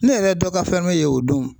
Ne yɛrɛ dɔ ka fɛn dɔ ye o don